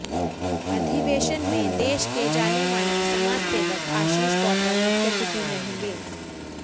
अधिवेशन में देश के जाने माने समाज सेवक आशीष गौतम मुख्यातिथि रहेंगे